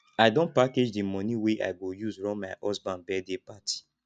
i don package di moni wey i go use run my husband birthday party